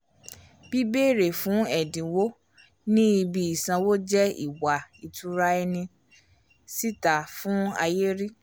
"bìbéèrè fún ẹdinwo ni ibi isanwo jẹ ìwà itura ẹni síta fún ayé ríi"